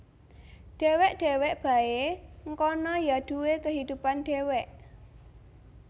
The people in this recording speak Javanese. Dewek dewek Bae ngkana Ya Duwe kehidupan Dewek